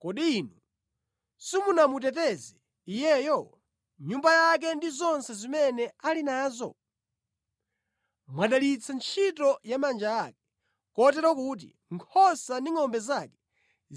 “Kodi Inu simumamuteteza iyeyo, nyumba yake ndi zonse zimene ali nazo? Mwadalitsa ntchito ya manja ake, kotero kuti nkhosa ndi ngʼombe zake